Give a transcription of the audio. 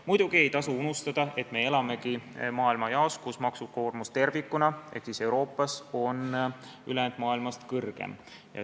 Muidugi ei tasu unustada, et me elamegi sellises maailmajaos ehk Euroopas, kus maksukoormus tervikuna on ülejäänud maailmast kõrgem.